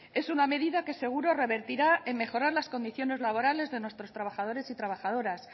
es una medida que seguro revertirá en mejorar las condiciones laborales de nuestros trabajadores y trabajadoras